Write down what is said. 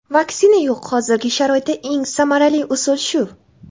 Vaksina yo‘q hozirgi sharoitda eng samarali usul shu.